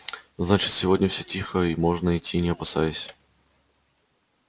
значит сегодня всё тихо и можно идти не опасаясь